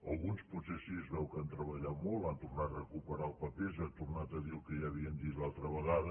alguns potser sí es veu que han treballat molt han tornat a recuperar els papers i han tornat a dir el que ja havien dit l’altra ve·gada